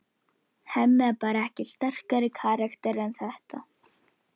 Aðeins Þorsteinn sem stóð afsíðis, fylgdi parinu eftir með augunum.